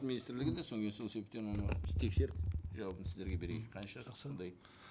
министрлігінде содан кейін сол себептен оны тексеріп жауабын сіздерге берейін қанша қандай